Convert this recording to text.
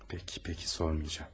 Peki, peki, sormayacağım.